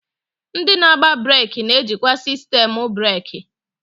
Ndị na-agba breeki ga-ejikwa sistemu breeki.